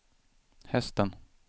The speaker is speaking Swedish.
hästen